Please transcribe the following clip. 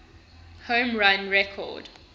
home run record